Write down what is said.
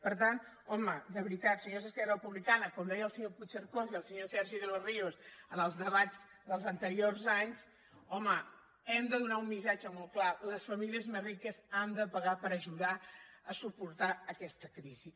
per tant home de veritat senyors d’esquerra republicana com deien el senyor puigcercós i el senyor sergi de los ríos en els debats dels anteriors anys hem de donar un missatge molt clar les famílies més riques han de pagar per ajudar a suportar aquesta crisi